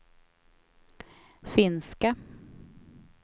finska